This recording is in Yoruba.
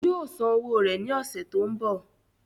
yóò san owó rẹ̀ ní ọ̀sẹ̀ tó ń bọ̀